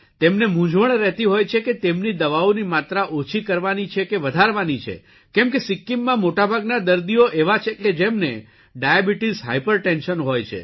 તેમને મુંઝવણ રહેતી હોય છે કે તેમની દવાઓની માત્રા ઓછી કરવાની છે કે વધારવાની છે કેમ કે સિક્કિમમાં મોટાભાગના દર્દીઓ એવા છે કે જેમને ડાયાબીટીસ હાઇપરટેન્શન હોય છે